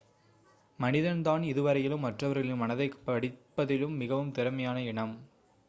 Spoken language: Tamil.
மனிதன்தான் இதுவரையிலும் மற்றவர்களின் மனதைப் படிப்பதில் மிகவும் திறமையான இனம்